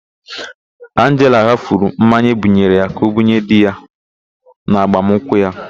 Anjela ghafuru mmanya ebunyere ya ka ọbunye di ya n'agbamụnkwụ ya.